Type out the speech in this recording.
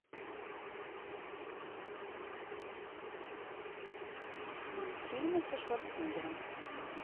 фильмы со шварценеггером